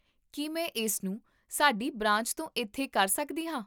ਕੀ ਮੈਂ ਇਸਨੂੰ ਸਾਡੀ ਬ੍ਰਾਂਚ ਤੋਂ ਇੱਥੇ ਕਰ ਸਕਦੀ ਹਾਂ?